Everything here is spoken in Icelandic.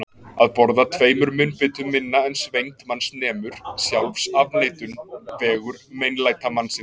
Að borða tveimur munnbitum minna en svengd manns nemur: sjálfsafneitun, vegur meinlætamannsins.